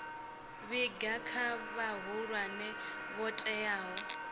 vhiga kha vhahulwane vho teaho